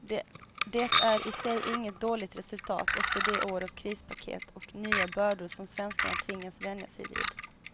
Det är i sig inget dåligt resultat efter de år av krispaket och nya bördor som svenskarna tvingats vänja sig vid.